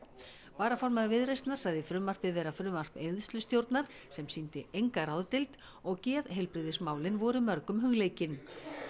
varaformaður Viðreisnar sagði frumvarpið vera frumvarp eyðslustjórnar sem sýndi enga ráðdeild og geðheilbrigðismálin voru mörgum hugleikin